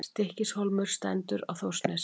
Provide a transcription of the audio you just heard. Stykkishólmur stendur á Þórsnesi.